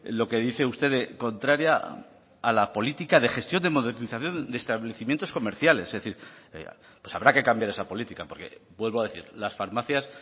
lo que dice usted de contraria a la política de gestión de modernización de establecimientos comerciales es decir pues habrá que cambiar esa política porque vuelvo a decir las farmacias